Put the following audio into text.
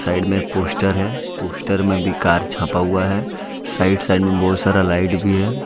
Side में एक poster है पोस्टर में भी कार छपा हुआ है साइड साइड में बहोत सारा लाइट भी है।